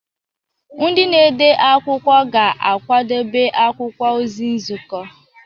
Ndị na-ede akwụkwọ ga-akwadebe akwụkwọ ozi nzukọ.